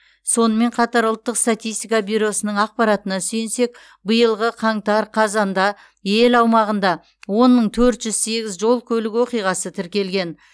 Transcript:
сонымен қатар ұлттық статистика бюросының ақпаратына сүйенсек биылғы қаңтар қазанда ел аумағында он мың төрт жүз сегіз жол көлік оқиғасы тіркелген